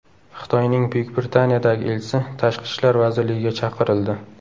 Xitoyning Buyuk Britaniyadagi elchisi Tashqi ishlar vazirligiga chaqirildi.